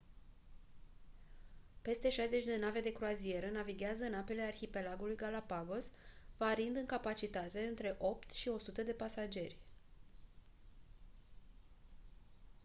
peste 60 de nave de croazieră navighează în apele arhipelagului galapagos variind în capacitate între 8 și 100 de pasageri